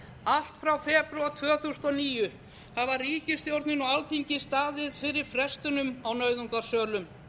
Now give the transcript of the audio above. allt frá febrúar tvö þúsund og níu hafa ríkisstjórnin og alþingi staðið fyrir frestunum á nauðungarsölum